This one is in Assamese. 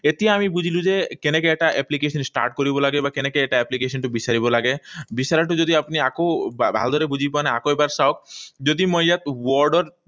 এতিয়া আমি বুজিলো যে কেনেকৈ এটা application start কৰিব লাগে বা কেনেকৈ এটা application বিচাৰিব লাগে। বিচাৰোতে যদি আপুনি আকৌ ভালদৰে বুজি পোৱা নাই, আকৌ এবাৰ চাওঁক। যদি মই ইয়াত word ত